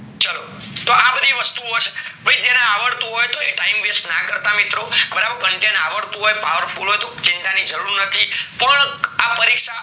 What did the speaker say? ચાલો તો બધી વસ્તુ ઓ છે ભય જેને આવડતું હોય તો એ time waste ના કરતા મિત્રો બરાબર જેન આવડતું હોય powerful તો ચિંતા ની જરૂર નથી પણ આ પરીક્ષા